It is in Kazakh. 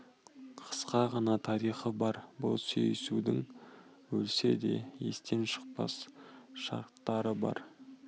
қысқа ғана тарихы бар бұл сүйісудің өлсе де естен шықпас шақтары бар